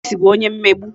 Chris bu onye mmegbu